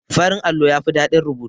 Farin allo yafi ɗadin rubutu.